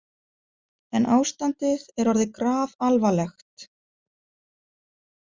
En ástandið er orðið grafalvarlegt.